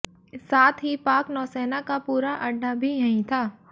साथ ही पाक नौसेना का पूरा अड्डा भी यहीं था